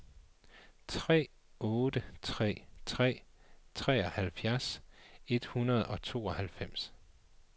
tre otte tre tre treoghalvfjerds et hundrede og tooghalvfems